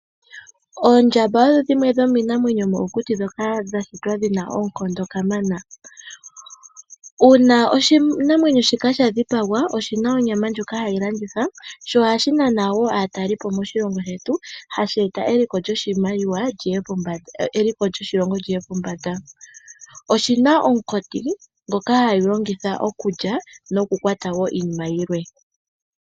Oondjamba odhi dhimwe dhomiinamwenyo yomokuti dhoka dha shitwa dhina oonkondo ka mana. Uuna oshinamwenyo shina sha dhipagwa oshina onyama ndjoka hayi landithwa sho ohashi naana wo aataleli po moshilongo shetu, hashi eta eliko lyoshimaliwa lyoshilongo li ye pombanda. Oshina omukoti ngoka hashi longitha okulya noku kwata iinima yilwe.